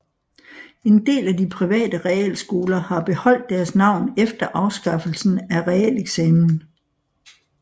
En del af de private realskoler har beholdt deres navn efter afskaffelsen af realeksamen